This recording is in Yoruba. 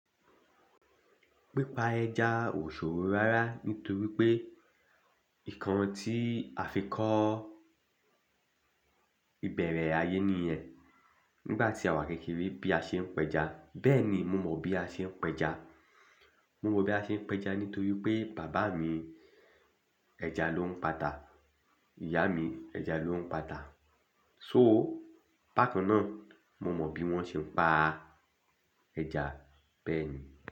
Pípá ẹja ò ṣòro rárá nítorí pé ìkan tí a fi kọ́ ìbẹ̀rẹ̀ ayé nìyẹn. Nígbà tí àwa kékeré bí a ṣe ń pa ẹja, bẹ́ẹ̀ ni mo mọ bí a ṣe ń pa ẹja. Mo mọ bí a ṣe ń pa ẹja nítorí pé bàbá mi ẹja ló ń pàtà, ìyá mi ẹja ló ń pàtà. So, bákan náà mo mọ bí wọ́n ṣe ń pa ẹja bẹ́ẹ̀ ni.